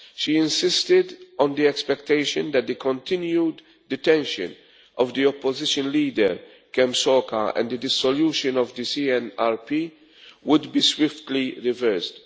She insisted on the expectation that the continued detention of the opposition leader, Kem Sokha, and the dissolution of the CNRP would be swiftly reversed.